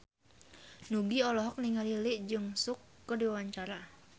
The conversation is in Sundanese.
Nugie olohok ningali Lee Jeong Suk keur diwawancara